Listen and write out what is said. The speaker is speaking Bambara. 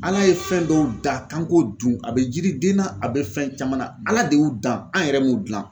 Ala ye fɛn dɔw da kan k'o dun a bɛ jiriden na a bɛ fɛn caman na, Ala de y'u dan, an yɛrɛ m'u dilan.